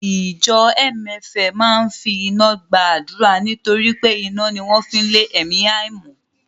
Ìjọ MFM máa ń fi iná gba àdúrà nítorí pé iná ni wọ́n fi ń lé ẹ̀mí àìmọ́